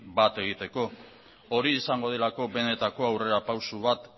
bat egiteko hori izango delako benetako aurrerapauso bat